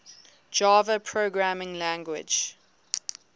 java programming language